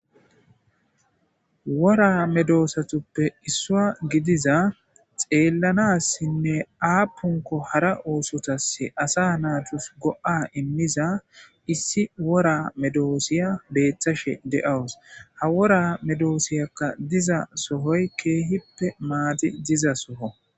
wora medoosatuppe issua gidiza xeellanassinne aapunko hara oosotase asa naatus go7a immiza issi wora medoosiya beeththashe de7awus ha wora medoosiyakka diza sohoy keehippe maadi diza soho